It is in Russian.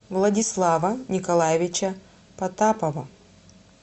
владислава николаевича потапова